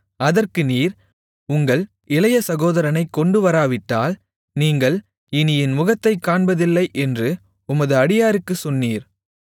அதற்கு நீர் உங்கள் இளைய சகோதரனைக் கொண்டுவராவிட்டால் நீங்கள் இனி என் முகத்தைக் காண்பதில்லை என்று உமது அடியாருக்குச் சொன்னீர்